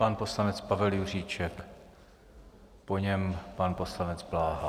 Pan poslanec Pavel Juříček, po něm pan poslanec Bláha.